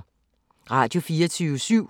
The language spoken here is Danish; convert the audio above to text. Radio24syv